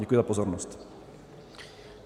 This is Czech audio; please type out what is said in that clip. Děkuji za pozornost.